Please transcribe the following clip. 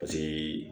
Paseke